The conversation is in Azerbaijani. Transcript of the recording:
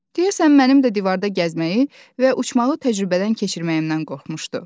Deyəsən, mənim də divarda gəzməyi və uçmağı təcrübədən keçirməyimdən qorxmuşdu.